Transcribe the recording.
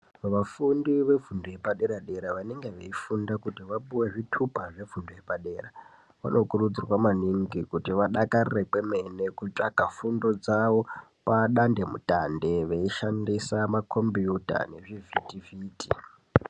Vafundi vefundo yepadera dera vanenge veifunda kuti vapuwe zvitupa zvefundo yepadera . Vanokurudzirwa maningi kuti vadakarire kwemene kutsvaka fundo dzawo padandemutande veishandisa makombiyuta nezvivhiti vhiti.